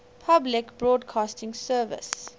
public broadcasting service